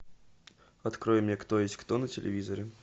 открой мне кто есть кто на телевизоре